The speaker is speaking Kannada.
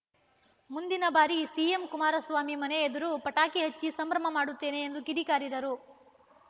ಮುಂದಿನ ಬಾರಿ ಸಿಎಂ ಕುಮಾರಸ್ವಾಮಿ ಮನೆ ಎದುರು ಪಟಾಕಿ ಹಚ್ಚಿ ಸಂಭ್ರಮ ಮಾಡುತ್ತೇವೆ ಎಂದು ಕಿಡಿಕಾರಿದರು